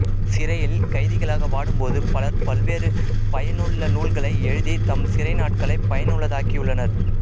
சிறையில் கைதிகளாக வாடும்போது பலர் பல்வேறு பயனுள்ள நூல்களை எழுதி தம் சிறைநாட்களைப் பயனுள்ளதாக்கியுள்ளனர்